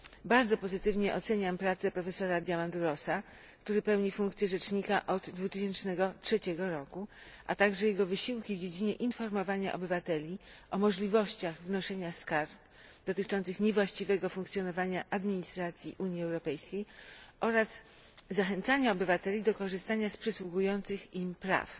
Bardzo pozytywnie oceniam pracę profesora Diamandourosa, który pełni funkcję rzecznika od 2003 roku, a także jego wysiłki w dziedzinie informowania obywateli o możliwościach wnoszenia skarg dotyczących niewłaściwego funkcjonowania administracji Unii Europejskiej oraz zachęcania obywateli do korzystania z przysługujących im praw.